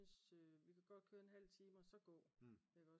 Vi kan godt køre en halvtime og så gå